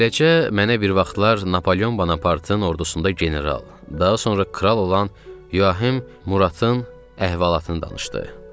Beləcə mənə bir vaxtlar Napoleon Bonapartın ordusunda general, daha sonra kral olan Yuahim Muradın əhvalatını danışdı.